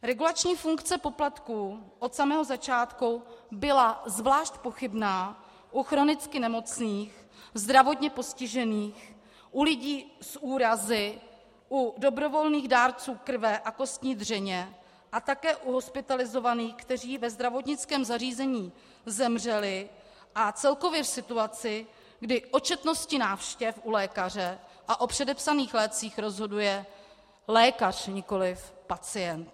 Regulační funkce poplatků od samého začátku byla zvlášť pochybná u chronicky nemocných, zdravotně postižených, u lidí s úrazy, u dobrovolných dárců krve a kostní dřeně a také u hospitalizovaných, kteří ve zdravotnickém zařízení zemřeli, a celkově v situaci, kdy o četnosti návštěv u lékaře a o předepsaných lécích rozhoduje lékař, nikoliv pacient.